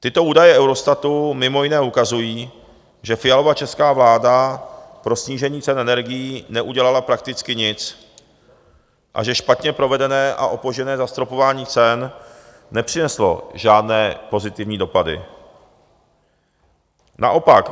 Tyto údaje Eurostatu mimo jiné ukazují, že Fialova česká vláda pro snížení cen energií neudělala prakticky nic a že špatně provedené a opožděné zastropování cen nepřineslo žádné pozitivní dopady, naopak.